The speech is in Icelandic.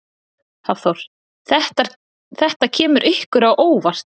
Hafþór: Þetta kemur ykkur á óvart?